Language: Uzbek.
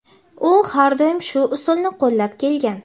U har doim shu usulni qo‘llab kelgan;.